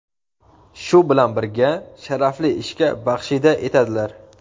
shu bilan birga sharafli ishga baxshida etadilar.